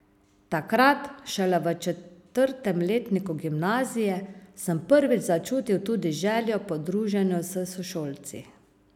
Takrat, šele v četrtem letniku gimnazije, sem prvič začutil tudi željo po druženju s sošolci.